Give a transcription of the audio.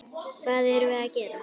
Hvað erum við gera?